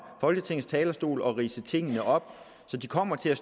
folketingets talerstol ridser tingene op så de kommer til at